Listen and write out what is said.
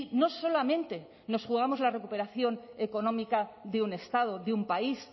no solamente nos jugamos la recuperación económica de un estado de un país